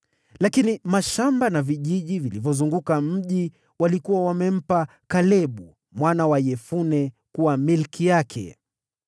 Lakini mashamba na vijiji vilivyozunguka mji mkubwa walikuwa wamempa Kalebu mwana wa Yefune kuwa milki yake.